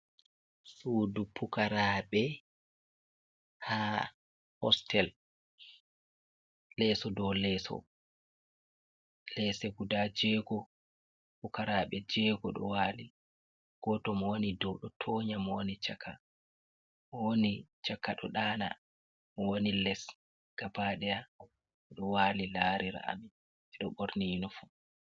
Suudu pukaraɓe ha hostel leso dow leeso, lese guda jego pukarabe jego ɗo wali, goto mo wani ɗow ɗo tonya mo woni chaka mo woni chaka ɗo ɗaana mo wani les gaba deya odo wali larira ami sedo borni yinifom.